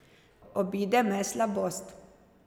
Obide me slabost.